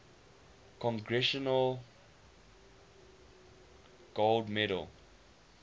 congressional gold medal